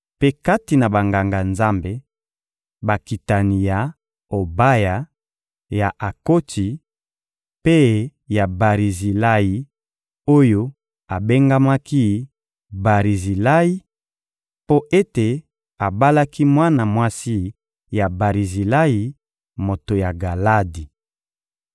Mpe kati na Banganga-Nzambe: Bakitani ya Obaya, ya Akotsi mpe ya Barizilayi oyo abengamaki «Barizilayi» mpo ete abalaki mwana mwasi ya Barizilayi, moto ya Galadi.